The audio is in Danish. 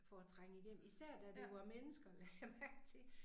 For at trænge igennem. Især da det var mennesker lagde jeg mærke til